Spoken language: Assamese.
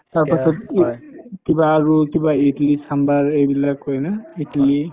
তাৰপাছত কিবা কিবা ইদলি চাম্ভাৰ এইবিলাক কই না